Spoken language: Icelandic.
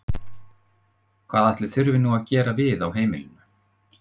Hvað ætli þurfi nú að gera við á heimilinu?